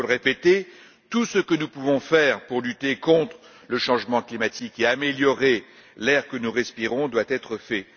Il faut le répéter, tout ce que nous pouvons faire pour lutter contre le changement climatique et améliorer l'air que nous respirons doit être fait.